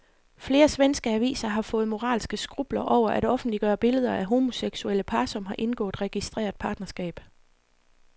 Flere svenske aviser har fået moralske skrupler over at offentliggøre billeder af homoseksuelle par, som har indgået registreret partnerskab.